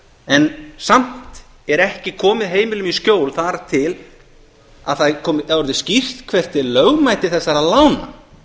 en samt er ekki komið heimilum í skjól þar til það er orðið skýrt hvert er lögmæti þessara lána